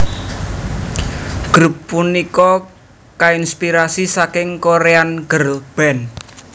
Grup punika kainspirasi saking Korean girlband